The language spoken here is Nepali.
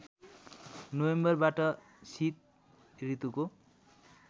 नोभेम्बरबाट शीत ऋतुको